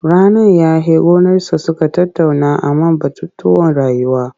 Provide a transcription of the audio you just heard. Rannan ya he gonarsa suka tattauna a man batutuwan rayuwa.